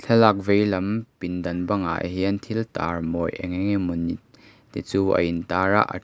thlalak vei lam pindang bang ah hian thil tar mawi eng eng emawni chu ain tar a.